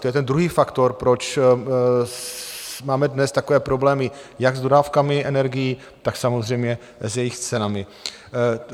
To je ten druhý faktor, proč máme dnes takové problémy jak s dodávkami energií, tak samozřejmě s jejich cenami.